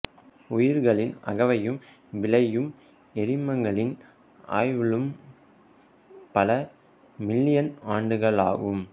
உயிரிகளின் அகவையும் விளையும் எரிமங்களின் ஆயுளும் பல மில்லியன் ஆண்டுகளாகும்